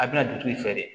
A bɛna dugutigi fɛ de